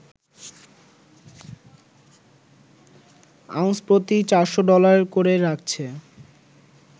ounce প্রতি ৪০০ dollar করে রাখছে